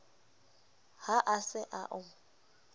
ha a se a o